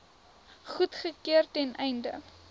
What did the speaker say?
goedgekeur ten einde